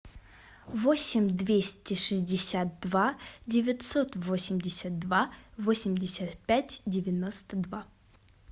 восемь двести шестьдесят два девятьсот восемьдесят два восемьдесят пять девяносто два